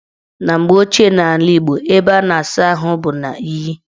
Na mgbe ochie n' ala Igbo, ebe a na-asa ahụ bụ n' iyi.